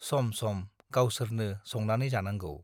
सम - सम गावसोरनो संनानै जानांगौ ।